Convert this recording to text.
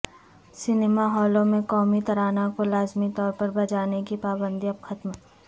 cinema ہالوں میں قومی ترانہ کو لازمی طور پر بجانے کی پابندی اب ختم